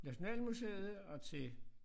Nationalmuseet og til